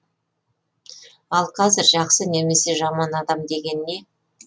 ал қазір жақсы немесе жаман адам деген не